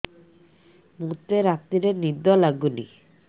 ମୋତେ ରାତିରେ ନିଦ ଲାଗୁନି